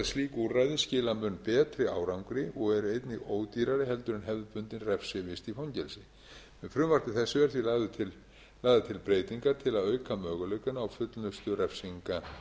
slík úrræði skila mun betri árangri og eru einnig ódýrari heldur en hefðbundin refsivist í fangelsi með frumvarpi þessu eru því lagðar til breytingar til að auka möguleikana á fullnustu refsinga